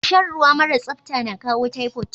Shan ruwa mara sapta na kawo typhoid.